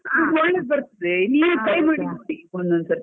ಹಾ ಒಳ್ಳೇದು ಬರ್ತದೆ, try ಮಾಡಿ ನೋಡಿ ಒಂದೊಂದು ಸರ್ತಿ.